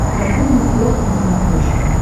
катун нетворк на смотрешке